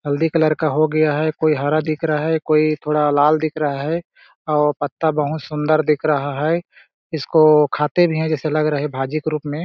हल्दी कलर का हो गया है कोई हरा दिख रहा है कोई थोड़ा लाल दिख रहा है और पत्ता बहुत सुन्दर दिख रहा है इसको खाते भी है जैसे लग रहा है भाजी के रूप में --